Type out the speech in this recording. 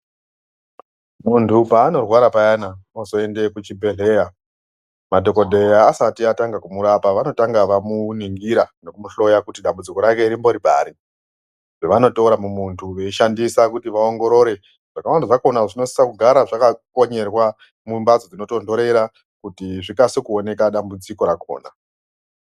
Munthu paanorwara payana, ozoende kuchibhedhleya ,madhokodheya asati atanga kumurapa vanotanga vamuningira nekumuhloya kuti dambudziko rake rimbori pari. Zvevanotora mumuntu veishandisa kuti vaongorore, zvakawanda zvakhona zvinosisa kugara zvakakonyerwa mumbatso dzinotontorera, kuti zvikase kuoneka, dambudziko rakkona.